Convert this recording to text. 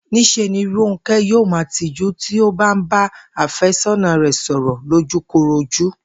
Ní s̩e ni Rónké̩ yóò máa tijú tí ó bá ń bá àfé̩só̩nà rè̩ sò̩rò̩ lójúkorojú